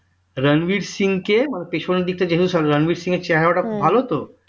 রণবীর সিং কে পিছনের দিকটা দেখে কারণ রণবীর সিংএর চেহারাটা ভালো তো